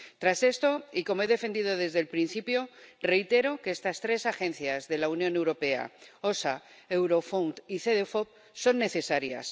Tras esto, y como he defendido desde el principio, reitero que estas tres agencias de la Unión Europea —EU OSHA, Eurofound y Cedefop— son necesarias.